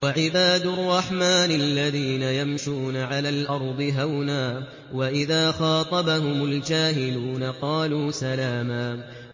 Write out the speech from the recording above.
وَعِبَادُ الرَّحْمَٰنِ الَّذِينَ يَمْشُونَ عَلَى الْأَرْضِ هَوْنًا وَإِذَا خَاطَبَهُمُ الْجَاهِلُونَ قَالُوا سَلَامًا